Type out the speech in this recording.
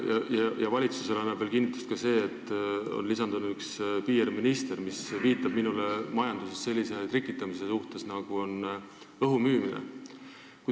Valitsuses annab sellele mõttele kinnitust ka see, et on lisandunud üks PR-minister, mis minu arvates viitab majanduses sellisele trikitamisele, nagu on õhu müümine.